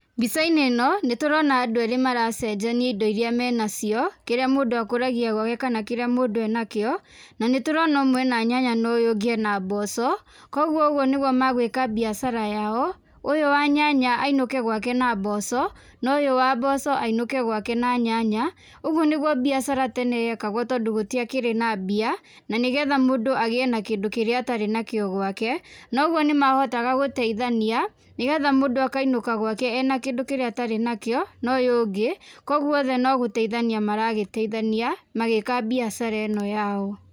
Mbica-inĩ ĩno, nĩ tũrona andũ eerĩ maracenjania indo irĩa menacio, kĩrĩa mũndũ akũragia gwake kana kĩrĩa mũndũ enakio. Na nĩ tũrona ũmwe ena nyanya na ũyũ ũngũ ena mboco. Kũguo ũguo nĩguo magwĩka biacara yao. Ũyũ wa nyanya ainũke gwake na mboco na ũyũ wa mboco ainũke gwake na nyanya. Ũguo nĩguo biacara tene yekagwo tondũ gũtiakĩrĩ na mbia, na nĩ getha mũndũ agĩe na kĩndũ kĩrĩa atarĩ nakĩo gwake. Na ũguo nĩ mahotaga gũteithania, nĩ getha mũndũ akainũka gwake ena kĩndũ kĩrĩa atarĩ nakĩo na ũyũ ũngĩ. Kũguo othe no gũteithania maragĩteithania magĩka mbiacara ĩno yao.